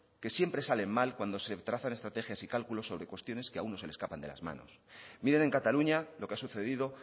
que siempre sale mal cuando se trazan estrategias y cálculos sobre cuestiones que a uno se le escapan de las manos miren en cataluña lo que ha sucedido